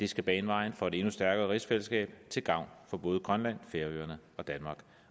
skal bane vejen for et endnu stærkere rigsfællesskab til gavn for både grønland færøerne